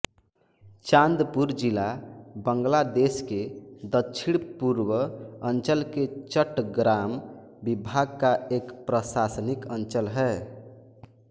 चाँदपुर जिला बांग्लादेश के दक्षिणपूर्व अंचल के चट्टग्राम विभाग का एक प्रशासनिक अंचल है